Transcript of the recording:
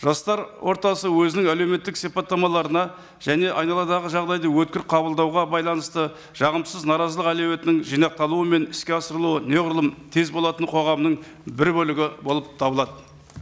жастар ортасы өзінің әлеуметтік сипаттамаларына және айналадағы жағдайды өткір қабылдауға байланысты жағымсыз наразылық әлеуетінің жинақталуы мен іске асырылуы неғұрлым тез болатын қоғамның бір бөлігі болып табылады